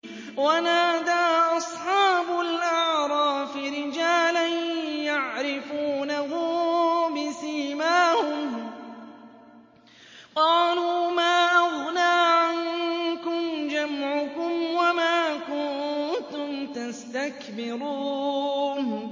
وَنَادَىٰ أَصْحَابُ الْأَعْرَافِ رِجَالًا يَعْرِفُونَهُم بِسِيمَاهُمْ قَالُوا مَا أَغْنَىٰ عَنكُمْ جَمْعُكُمْ وَمَا كُنتُمْ تَسْتَكْبِرُونَ